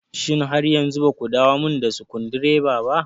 Shin har yanzu baku dawomin da sukundireba ba?